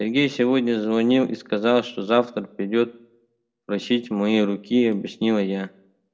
сергей сегодня звонил и сказал что завтра придёт просить моей руки объяснила я